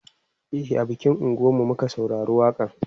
a bikin unguwan mu muka saurari waƙa n